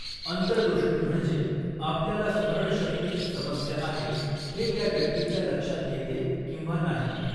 अंतर्दृष्टी म्हणजे आपल्याला स्मरणशक्तीची समस्या आहे, हे त्या व्यक्तीच्या लक्षात येते किंवा नाही.